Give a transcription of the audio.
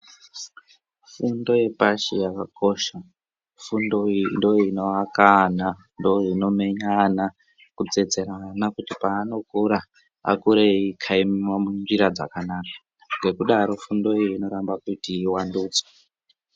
Fundo yepashi yakakosha, fundo iyi ndooinoaka ana, ndooinomenya ana, kutsetsera ana kuti paanokura, akure eikaimiwa munzira dzakanaka. Ngekudaro funfo iyi inoramba kuti ivandudzwe.